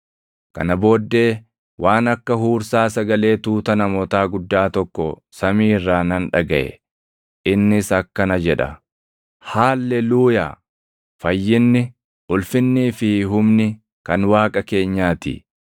Kana booddee waan akka huursaa sagalee tuuta namootaa guddaa tokko samii irraa nan dhagaʼe; innis akkana jedha: “Haalleluuyaa! Fayyinni, ulfinnii fi humni kan Waaqa keenyaa ti;